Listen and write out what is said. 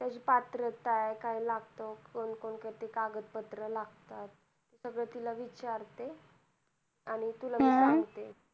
काय पात्रता काय लागत कोण कोणती कागद पत्र लागतात सगळ तिला विचारते आणि तुला मी सांगते